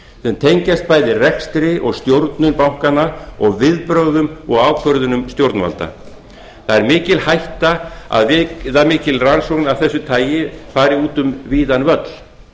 sem tengjast bæði rekstri og stjórnun bankanna og viðbrögðum og ákvörðunum stjórnvalda það er mikil hætta að viðamikil rannsókn af þessu tagi fari út um víðan völl